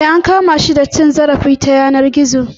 Eh an kama shi da laifin cin zarafi ta yanar gizo.